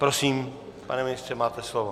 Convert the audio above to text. Prosím, pane ministře, máte slovo.